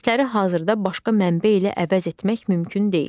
İES-ləri hazırda başqa mənbə ilə əvəz etmək mümkün deyil.